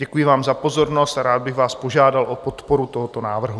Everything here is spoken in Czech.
Děkuji vám za pozornost a rád bych vás požádal o podporu tohoto návrhu.